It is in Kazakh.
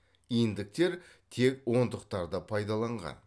иньдіктер тек ондықтарды пайдаланған